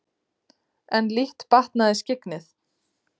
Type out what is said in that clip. En lítt batnaði skyggnið.